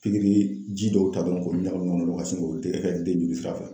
Pikiri ji dɔw ta dɔrɔn k'olu ɲagamin ka sin k'olu kɛ i ka den joli sira fɛ.